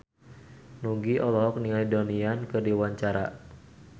Nugie olohok ningali Donnie Yan keur diwawancara